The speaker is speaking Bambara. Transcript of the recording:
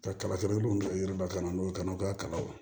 Ka kala i dun ka yiri lakana n'o ye kanaw ka kalaw